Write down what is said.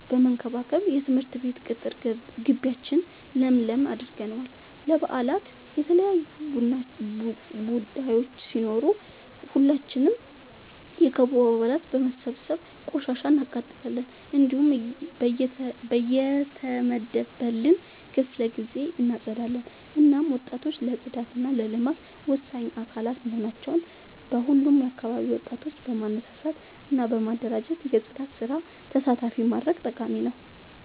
በመከባከብ የትምህርት ቤት ቅጥር ጊቢያችን ለምለም አድርገነዋል። ለበአላት የተለያዩ ቡዳዮች ሲኖሩ ሁላችንም የክበቡ አባላት በመሰብሰብ ቆሻሻ እናቃጥላለን። እንዲሁም በየተመደበልን ክፍለ ጊዜ እናፀዳለን። እናም ወጣቶች ለፅዳት እና ለልማት ወሳኝ አካላት በመሆናቸው በሁሉም አካባቢ ወጣቶችን በማነሳሳት እና በማደራጀት የፅዳት ስራ ተሳታፊ ማድረግ ጠቃሚ ነው።